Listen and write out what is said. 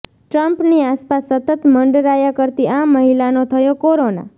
ટ્રમ્પની આસપાસ સતત મંડરાયા કરતી આ મહિલાનો થયો કોરોના